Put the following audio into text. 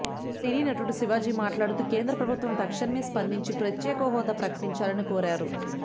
సినీనటుడు శివాజీ మాట్లాడుతూ కేంద్ర ప్రభుత్వం తక్షణమే స్పందించి ప్రత్యేక హోదా ప్రకటించాలని కోరారు